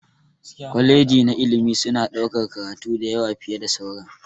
kwaleji na ilimi suna ɗaukar karatu da yawa fiye da sauran.